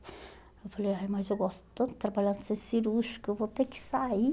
Eu falei, ai mas eu gosto tanto de trabalhar no centro Cirúrgico, eu vou ter que sair.